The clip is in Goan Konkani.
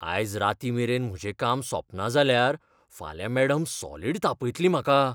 आयज रातीं मेरेन म्हजें काम सोंपना जाल्यार, फाल्यां मॅडम सॉलिड तापयतली म्हाका.